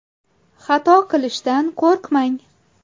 Xato qilishdan qo‘rqmang.